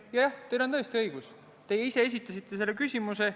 Jah, teil on tõesti õigus, te ise esitasite selle küsimuse.